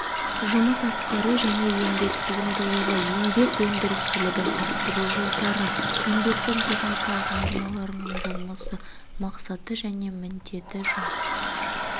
жұмыс атқару және еңбек сыйымдылығы еңбек өндірістілігін арттыру жолдары еңбектің техникалық нормаларының болмысы мақсаты және міндеті жұмыс